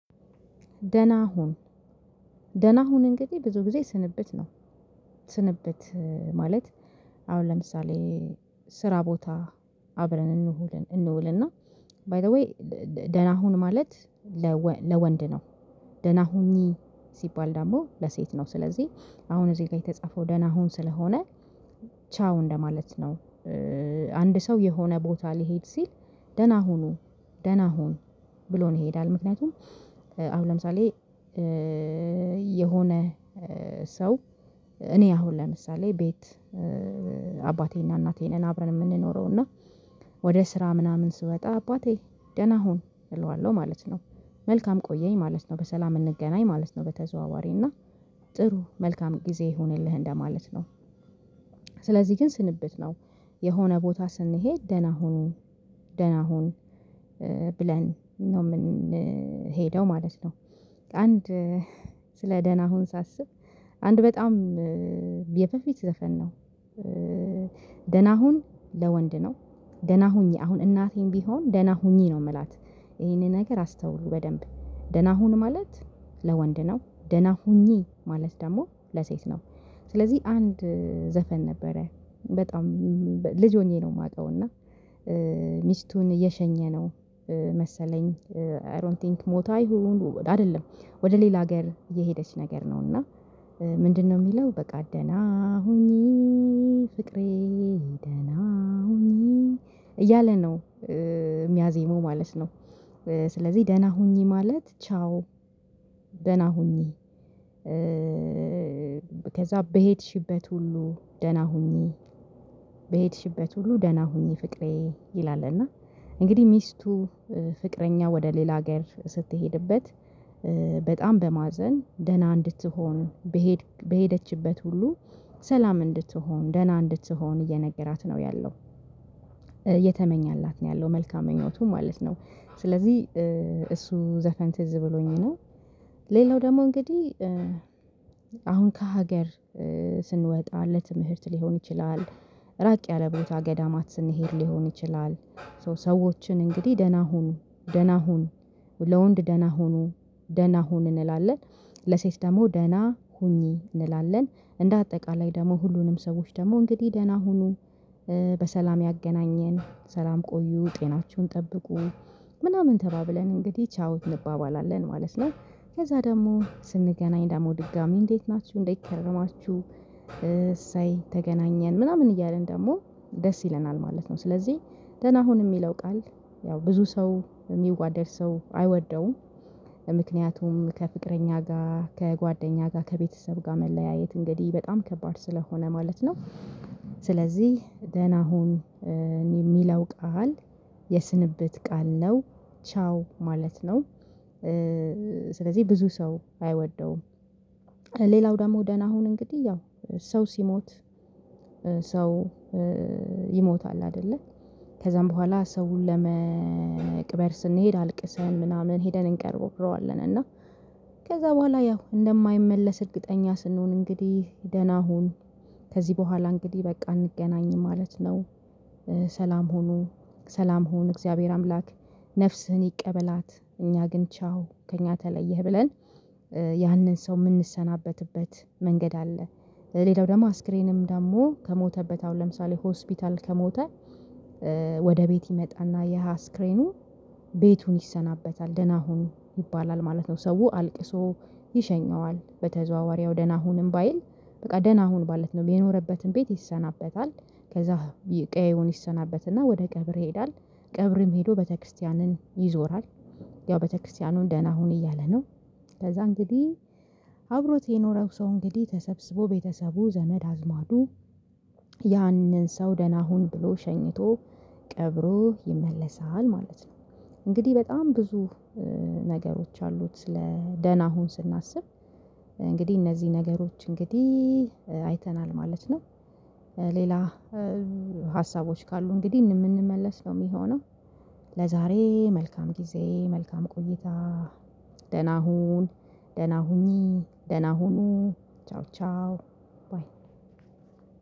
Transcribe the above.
ደህና ሁን ደህና ሁን እንግዲህ ብዙ ጊዜ ስንብት ነው። ስንብት ማለት አሁን ለምሳሌ ስራ ቦታ አብረን እንውልን እንውልና ባይ ዘ ዌይ ደህና ሁን ማለት። ለወንድ ነው ደህና ሁኚ ሲባል ደግሞ ለሴት ነው ስለዚህ አሁን እዚህ ጋር የተጻፈው ደህና ሁን ስለሆነ ቻው እንደማለት ነው። አንድ ሰው የሆነ ቦታ ሊሄድ ሲል ደህና ሁኑ ደህና ሁን ብሎን ይሄዳል ምክንያቱም። አሁን ለምሳሌ የሆነ ሰው እኔ አሁን ለምሳሌ ቤት አባቴና እናቴ ነን አብረን የምንኖረው እና ወደ ስራ ምናምን ስወጣ አባቴ ደህና ሁን እለዋለሁ ማለት ነው። መልካም ቆየኝ ማለት ነው በሰላም እንገናኝ ማለት ነው በተዘዋዋሪ እና ጥሩ መልካም ጊዜ ይሁንልህ እንደማለት ነው። ስለዚህ ግን ስንብት ነው የሆነ ቦታ ስንሄድ ደህና ሁኑ ደህና ሁን ብለን ነው የምንሄደው ማለት ነው። አንድ ስለ ደህና ሁን ሳስብ አንድ በጣም በፊት ዘፈን ነው። ደህና ሁን ለወንድ ነው ደህና ሁኚ አሁን እናቴም ቢሆን ደህና ሁኚ ነው የምላት ይሄንን ነገር አስተውሉ በደንብ ደህና ሁን ማለት ለወንድ ነው ደህና ሁኚ ማለት ደግሞ ለሴት ነው። ስለዚህ አንድ ዘፈን ነበረ በጣም ልጅ ሆኜ ነው የማውቀው እና ሚስቱን እየሸኘ ነው። መሰለኝ አይ ዶንት ቲንክ ሞታ ይሁን አይደለም ወደ ሌላ ሀገር እየሄደች ነገር ነውና ምንድነው? የሚለው በቃ ደህና ሁኚ ፍቅሬ ደህና ሁኚ እያለ ነው የሚያዜመው ማለት ነው። ስለዚህ ደህና ሁኚ ማለት ቻው ደህና ሁኚ። ከዛ በሄድሽበት ሁሉ ደህና ሁኚ በሄድሽበት ሁሉ ደህና ሁኚ ፍቅሬ ይላል እና እንግዲህ ሚስቱ ፍቅረኛ ወደ ሌላ ሀገር ስትሄድበት በጣም በማዘን ደህና እንድትሆን በሄደችበት ሁሉ ሰላም እንድትሆን ደህና እንድትሆን እየነገራት ነው ያለው። እየተመኘላት ነው ያለው መልካም ምኞቱን ማለት ነው ስለዚህ እሱ ዘፈን ትዝ ብሎኝ ነው። ሌላው ደግሞ እንግዲህ አሁን ከሀገር ስንወጣ ለትምህርት ሊሆን ይችላል ራቅ ያለ ቦታ ገዳማት ስንሄድ ሊሆን ይችላል። ሰዎችን እንግዲህ ደህና ሁኑ ደህና ሁን ለወንድ ደህና ሁኑ ደህና ሁን እንላለን ለሴት ደግሞ ደህና ሁኚ እንላለን እንደ አጠቃላይ ደግሞ ሁሉንም ሰዎች ደግሞ እንግዲህ ደህና ሁኑን በሰላም ያገናኘን ሰላም ቆዩ ጤናቸውን ጠብቁ ምናምን ተባብለን እንግዲህ ቻው እንባባላለን ማለት ነው። ከዛ ደግሞ ስንገናኝ ደግሞ ድጋሚ እንዴት ናችሁ እንዴት ከረማችሁ? እሰይ ተገናኘን ምናምን እያልን ደግሞ ደስ ይለናል ማለት ነው። ስለዚህ ደህና ሁን የሚለው ቃል ያው ብዙ ሰው የሚዋደድ ሰው አይወደውም ምክንያቱም ከፍቅረኛ ጋር ከጓደኛ ጋር ከቤተሰብ ጋር መለያየት እንግዲህ በጣም ከባድ ስለሆነ ማለት ነው። ስለዚህ ደህና ሁን የሚለው ቃል የስንብት ቃል ነው። ቻው ማለት ነው። ስለዚህ ብዙ ሰው አይወደውም። ሌላው ደግሞ ደህና ሁን እንግዲህ ያው ሰው ሲሞት ሰው ይሞታል አይደለ ከዛም በኋላ ሰውን ለመቅበር ስንሄድ አልቅሰን ምናምን ሄደን እንቀርበዋለን እና ከዛ በኋላ ያው እንደማይመለስ እርግጠኛ ስንሆን እንግዲህ ደህና ሁን ከዚህ በኋላ እንግዲህ በቃ እንገናኝ ማለት ነው። ሰላም ሁኑ ሰላም ሁን እግዚአብሔር አምላክ ነፍስህን ይቀበላት እኛ ግን ቻው ከእኛ ተለየህ ብለን ያንን ሰው የምንሰናበትበት መንገድ አለ። ሌላው ደግሞ አስከሬንም ደግሞ ከሞተበት አሁን ለምሳሌ ሆስፒታል ከሞተ ወደ ቤት ይመጣና ያሃ ስክሪኑ ቤቱን ይሰናበታል ደህና ሁን ይባላል ማለት ነው። ሰው አልቅሶ ይሸኘዋል በተዘዋዋሪው ደህና ሁንም ባይል በቃ ደህና ሁን ማለት ነው የሚኖርበትን ቤት ይሰናበታል። ከዛ ቀዬውን ይሰናበትና ወደ ቀብር ይሄዳል ቀብርም ሄዶ በተክርስቲያንን ይዞራል። ያው ቤተክርስቲያኑን ደህና ሁን እያለ ነው። ከዛ እንግዲህ አብሮት የኖረው ሰው እንግዲህ ተሰብስቦ ቤተሰቡ ዘመድ አዝማዱ ያንን ሰው ደህና ሁን ብሎ ሸኝቶ ቀብሮ ይመለሳል ማለት ነው። እንግዲህ በጣም ብዙ ነገሮች አሉት ስለ ደህና ሁን ስናስብ እንግዲህ እነዚህ ነገሮች እንግዲህ አይተናል ማለት ነው። ሌላ ሀሳቦች ካሉ እንግዲህ የምንመለስ ነው የሚሆነው። ለዛሬ መልካም ጊዜ መልካም ቆይታ። ደህና ሁን ደህና ሁኚ ደህና ሁኑ ቻው ቻው ባይ